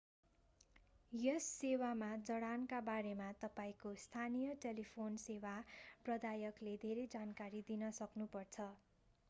यस सेवामा जडानका बारेमा तपाईंको स्थानीय टेलिफोन सेवा प्रदायकले धेरै जानकारी दिन सक्नु पर्छ